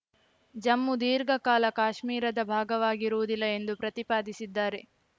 ಜಮ್ಮು ದೀರ್ಘಕಾಲ ಕಾಶ್ಮೀರದ ಭಾಗವಾಗಿರುವುದಿಲ್ಲ ಎಂದು ಪ್ರತಿಪಾದಿಸಿದ್ದಾರೆ